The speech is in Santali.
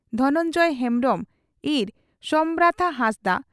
ᱫᱷᱚᱱᱚᱱᱡᱚᱭ ᱦᱮᱢᱵᱽᱨᱚᱢ ᱤᱸᱨ ᱥᱚᱢᱱᱟᱛᱷᱟ ᱦᱟᱸᱥᱫᱟᱜ